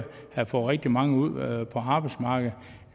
har fået rigtig mange ud på arbejdsmarkedet